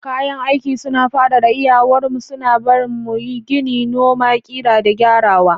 Kayan aiki suna fadada iyawar mu, suna barin mu gini, noma, ƙirƙira, da gyarawa.